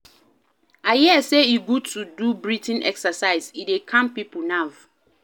I hear sey e good to do breathing exercises, e dey calm pipo nerve.